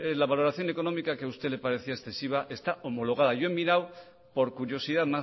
la valoración económica que a usted le parecía excesiva está homologada yo he mirado por curiosidad